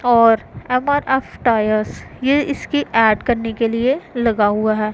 और MRF tyres ये इसकी ऐड करने के लिए लगा हुआ है।